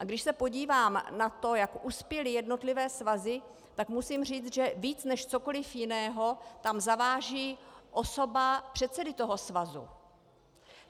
A když se podívám na to, jak uspěly jednotlivé svazy, tak musím říct, že víc než cokoli jiného tam zaváží osoba předsedy toho svazu.